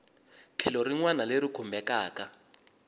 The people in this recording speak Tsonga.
tlhelo rin wana leri khumbekaku